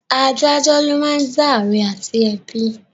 Adájọ ló máa ń dá àre àti ẹ̀bi